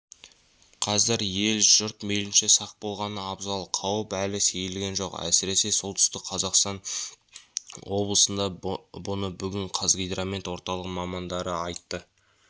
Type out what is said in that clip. қазір ел-жұрт мейлінше сақ болғаны абзал қауіп әлі сейілген жоқ әсіресе солтүстік қазақстан облысында бұны бүгін қазгидромет орталығының мамандары айтты